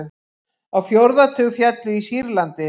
Á fjórða tug féllu í Sýrlandi